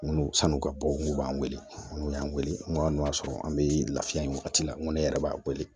N ko san'u ka bɔ n kungo b'an wele n'u y'an wele n ko hali n'o y'a sɔrɔ an be lafiya wagati la nko ne yɛrɛ b'a wele